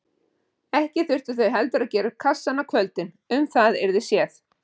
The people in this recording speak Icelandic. Ekki þyrftu þau heldur að gera upp kassann á kvöldin, um það yrði séð.